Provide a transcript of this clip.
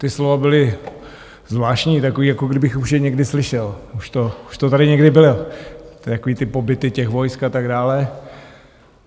Ta slova byla zvláštní, taková, jako kdybych už je někdy slyšel, už to tady někdy bylo, takové ty pobyty těch vojsk a tak dále.